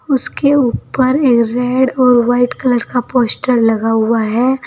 उसके ऊपर एक रेड और वाइट कलर का पोस्टर लगा हुआ है।